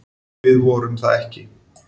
Við vorum það ekki.